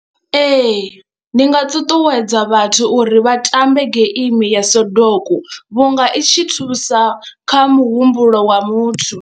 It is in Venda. Ee, ndi nga ṱuṱuwedza vhathu uri vha tambe geimi ya Sodoku vhunga i tshi thusa kha muhumbulo wa muthu.